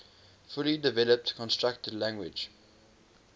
fully developed constructed language